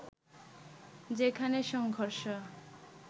যেখানে সংঘর্ষ